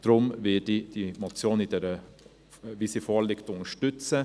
Deshalb werde ich die Motion, wie sie vorliegt, unterstützen.